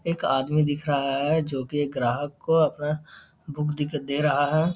एक आदमी दिख रहा है जो की एक ग्राहक को अपना बुक दिक दे रहा है।